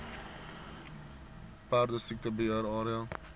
perdesiekte beheer area